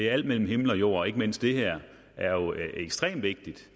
alt mellem himmel og jord men ikke mindst det her er jo ekstremt vigtigt